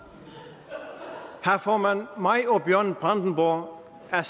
formand mig og bjørn brandenborg er